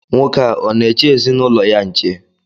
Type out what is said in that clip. Nwoke a, ọ na-eche ezinụlọ ya nche?